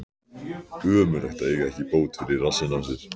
Ömurlegt að eiga ekki bót fyrir rassinn á sér.